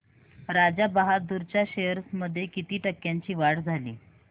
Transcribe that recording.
राजा बहादूर च्या शेअर्स मध्ये किती टक्क्यांची वाढ झाली